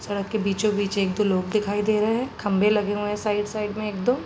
सड़क के बीचो-बीच एक दो लोग दिखाई दे रहे हैं। खंभे लगे हुए हैं साइड साइड एक दो।